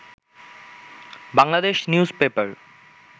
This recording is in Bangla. Bangladesh news paper